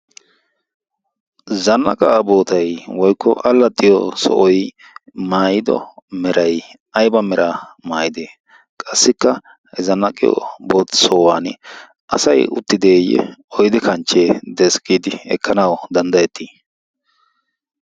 zannaqa bootai woikko allaxiyo sohoy maayido meray ayba mera maayidee qassikka zannaqiyob sohuwan asay uttideeyye oydi kanchchee deesk giidi ekkanawu danddayettii